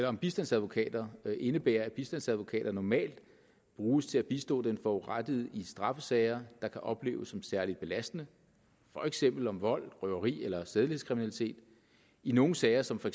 om bistandsadvokater indebærer at bistandsadvokater normalt bruges til at bistå den forurettede i straffesager der kan opleves som særligt belastende for eksempel om vold røveri eller sædelighedskriminalitet i nogle sager som for